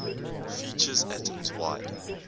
features atoms wide